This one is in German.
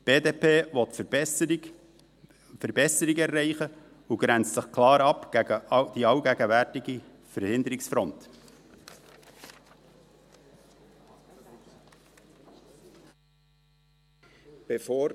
Die BDP will Verbesserungen erreichen und grenzt sich gegen die allgegenwärtige Verhinderungsfront klar ab.